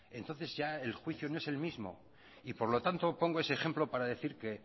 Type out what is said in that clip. entonces ya el juicio no es el mismo por lo tanto pongo ese ejemplo para decir que